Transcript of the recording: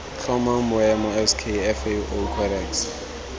tlhomang boemo sk fao codex